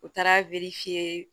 U taara